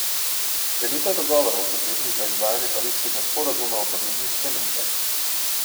Sklenitev dogovorov, potrebnih za izvajanje pariškega sporazuma o podnebnih spremembah.